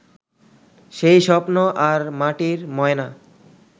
সেই স্বপ্ন আর মাটির ময়না